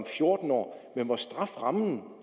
fjorten år mens straframmen